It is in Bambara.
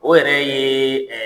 O yɛrɛ ye